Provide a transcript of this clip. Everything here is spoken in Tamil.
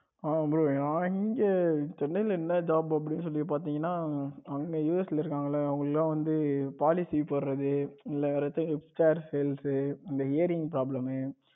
bro நான் எங்க சென்னையில் என்ன job அப்படின்னு சொல்லி பாத்தீங்கன்னா அங்க US இருக்காங்கல அவங்களுக்கெல்லாம் வந்து policy போடுறது இல்ல HR service இந்த eyring problem